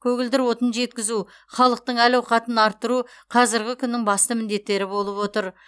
көгілдір отын жеткізу халықтың әл ауқатын арттыру қазіргі күннің басты міндеттері болып отыр